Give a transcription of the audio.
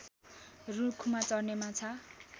रूखमा चढ्ने माछा